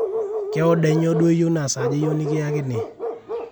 kee oda enyoo duo iyieu na saaja iyieu nikiakini